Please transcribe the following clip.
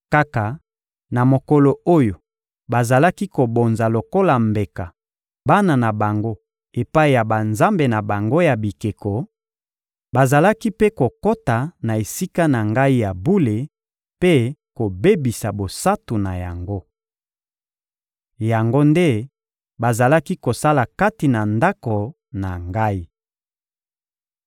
Kaka na mokolo oyo bazalaki kobonza lokola mbeka bana na bango epai ya banzambe na bango ya bikeko, bazalaki mpe kokota na Esika na Ngai ya bule mpe kobebisa bosantu na yango. Yango nde bazalaki kosala kati na Ndako na Ngai.